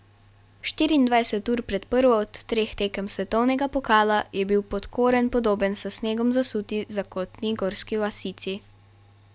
Štiriindvajset ur pred prvo od treh tekem svetovnega pokala je bil Podkoren podoben s snegom zasuti zakotni gorski vasici.